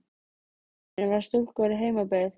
Með í förinni var stúlka úr heimabyggð